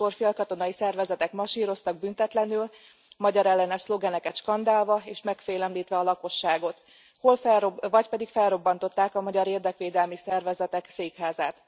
Máskor félkatonai szervezetek masíroztak büntetlenül magyarellenes szlogeneket skandálva, és megfélemlítve a lakosságot, vagy pedig felrobbantották a magyar érdekvédelmi szervezetek székházát.